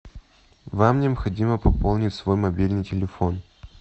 вам необходимо пополнить свой мобильный телефон